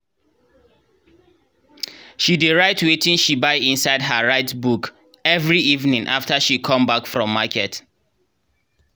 she dey write wetin she buy inside her write book every evening after she come back from market.